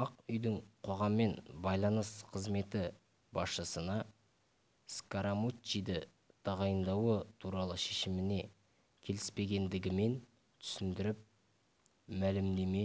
ақ үйдің қоғаммен байланыс қызметі басшысына скарамуччиді тағайындауы туралы шешіміне келіспегендігімен түсіндіріп мәлімдеме